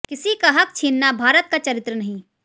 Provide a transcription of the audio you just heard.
किसी का हक़ छीनना भारत का चरित्र नहीं